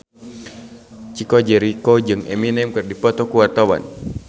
Chico Jericho jeung Eminem keur dipoto ku wartawan